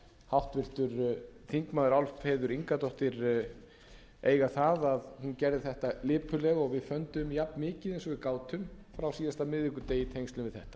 háttvirtir þingmenn álfheiður ingadóttir eiga það að hún gerði þetta lipurlega og við funduðum jafnmikið og við gátum frá síðasta miðvikudegi í tengslum við þetta það var